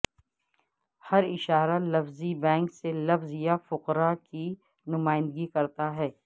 ہر اشارہ لفظی بینک سے لفظ یا فقرہ کی نمائندگی کرتا ہے